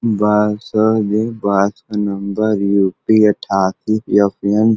बस ह ओदे। बस का नंबर यूपी अठासी यफयन --